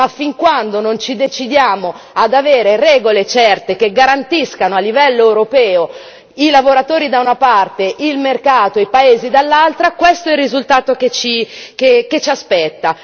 Ma fino a quando non ci decideremo ad avere regole certe che garantiscano a livello europeo i lavoratori da una parte e il mercato e i paesi dall'altra, questo è il risultato che ci aspetta.